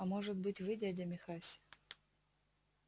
а может быть вы дядя михась